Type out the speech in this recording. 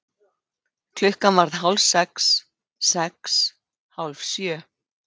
Klukkan varð hálf sex. sex. hálf sjö.